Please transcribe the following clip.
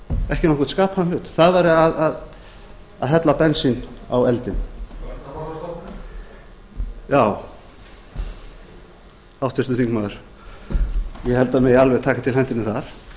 ekki nokkurn skapaðan hlut það væri að hella bensíni á eldinn já háttvirtur þingmaður ég held að það megi alveg taka til hendinni þar